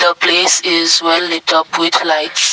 the place is well light up with lights.